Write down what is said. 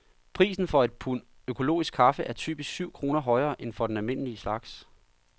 Prisen for et pund økologisk kaffe er typisk syv kroner højere end for den almindelige slags.